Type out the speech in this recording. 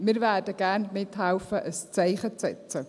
Wir werden gerne mithelfen, ein Zeichen zu setzen.